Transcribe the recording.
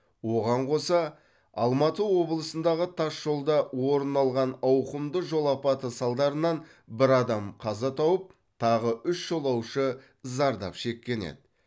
оған қоса алматы облысындағы тас жолда орын алған ауқымды жол апаты салдарынан бір адам қаза тауып тағы үш жолаушы зардап шеккен еді